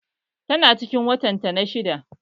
Tana cikin watan ta na shidda